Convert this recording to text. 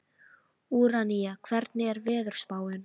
Úranía, hvernig er veðurspáin?